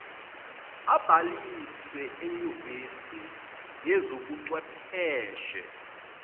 abhalise enyuvesi yezobuchwepheshe